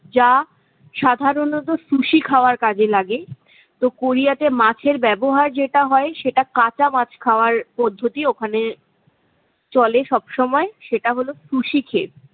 যা সাধারণত sushi খাওয়ার কাজে লাগে। তো কোরিয়াতে মাছের ব্যবহার যেটা হয়, সেটা কাঁচা মাছ খাওয়ার পদ্ধতি। ওখানে চলে সবসময় সেটা হলো sushi খেয়ে।